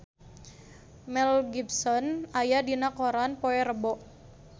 Mel Gibson aya dina koran poe Rebo